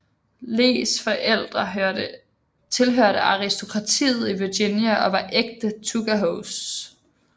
Lees forældre tilhørte aristokratiet i Virginia og var ægte tuckahoes